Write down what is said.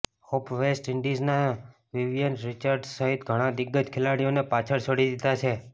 હોપે West ઈન્ડિઝના Vivian Richards સહિત ઘણા દિગ્ગજ ખેલાડીઓને પાછળ છોડી દિધા છે